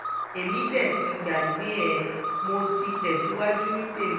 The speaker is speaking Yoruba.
èmi dé ti gbàgbé ẹ̀ mọ́ ti tẹ̀síwájú ní tèmi